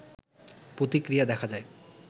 প্রতিক্রিয়া দেখা যায়